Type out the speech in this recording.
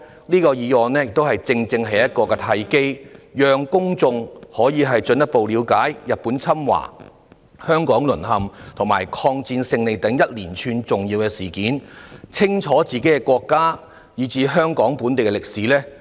這項議案正是一個契機，讓公眾可以進一步了解日本侵華、香港淪陷及抗戰勝利等連串重要事件，清楚自己的國家以至香港本地的歷史。